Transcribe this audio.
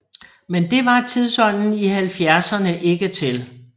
Men det var tidsånden i halvfjerdserne ikke til